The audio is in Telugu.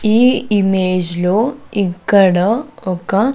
ఈ ఇమేజ్ లో ఇక్కడ ఒక--